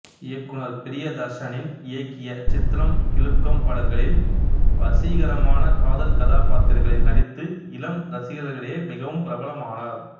இயக்குனர் ப்ரியதர்ஷனின் இயக்கிய சித்ரம் கிலுக்கம் படங்களில் வசீகரமான காதல் கதாப்பாத்திரங்களில் நடித்து இளம் ரசிகர்களுக்கிடையே மிகவும் பிரபலமானார்